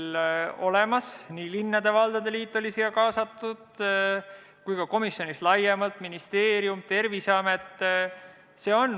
Sellesse olid kaasatud nii linnade ja valdade liit kui ka komisjon laiemalt, ministeerium, Terviseamet.